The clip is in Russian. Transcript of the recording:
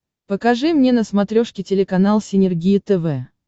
покажи мне на смотрешке телеканал синергия тв